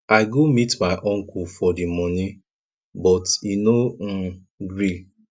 i go meet my uncle for the money but e no um gree